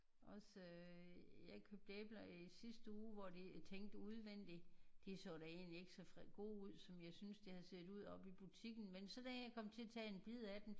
Også jeg købte æbler her i sidste uge hvor jeg tænkte udvendig de så da egentlig ikke så gode ud som jeg synes de havde set ud oppe i butikken men så da jeg kom til at tage en bid af den